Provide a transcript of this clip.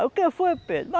Aí o que foi, Pedro?